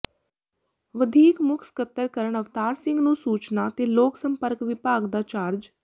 ਵਧੀਕ ਮੁੱਖ ਸਕੱਤਰ ਕਰਨ ਅਵਤਾਰ ਸਿੰਘ ਨੂੰ ਸੂਚਨਾ ਤੇ ਲੋਕ ਸੰਪਰਕ ਵਿਭਾਗ ਦਾ ਚਾਰਜ